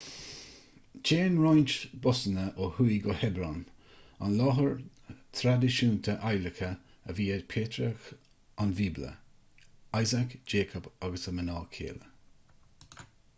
téann roinnt busanna ó thuaidh go hebron an láthair thraidisiúnta adhlactha a bhí ag patrairc an bhíobla isaac jacob agus a mná céile